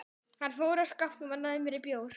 Olgeir, hvernig verður veðrið á morgun?